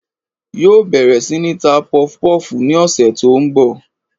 Yóò bèrè sí ní ta pufupúfù ni òsè tó n bò